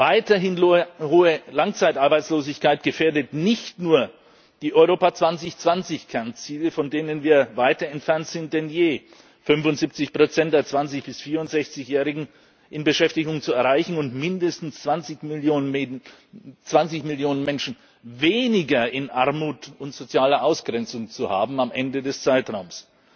Weiterhin hohe Langzeitarbeitslosigkeit gefährdet nicht nur die Europa 2020 Kernziele, von denen wir weiter entfernt sind denn je 75 der 20 bis 64 Jährigen in Beschäftigung zu erreichen und mindestens 20 Millionen Menschen weniger in Armut und sozialer Ausgrenzung zu haben am Ende des Zeitraums.